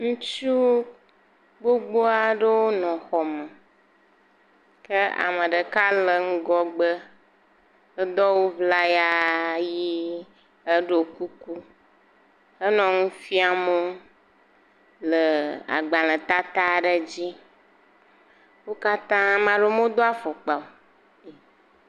Ŋutsu gbogbo aɖewo nɔ xɔme ke ame ɖeka nɔ ŋgɔgbe edo awu ŋlaya ʋi eɖo kuku enɔ nu fiam wo le agbalẽ tata aɖe dzi weo katã ame aɖewo medo afɔkpa o.